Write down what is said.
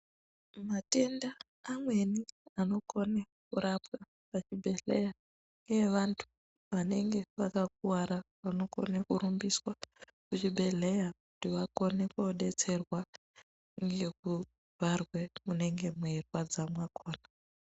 Matenda amweni anokona kurapwa kuzvibhedhlera kunoenda vantu vanenge vakakuwara kurumbiswa kuzvibhedhlera vakone kudetserwa ngekubharwe munenge meirwadza makona.